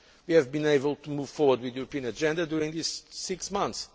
We have been able to move forward with the European agenda during this six